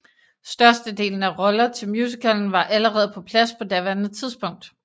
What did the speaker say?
Størstedelen af roller til musicalen var allerede på plads på daværende tidspunkt